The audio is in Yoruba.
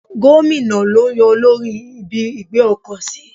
Gómìnà lo yan olórí ibi ìgbé ọkọ̀ sí.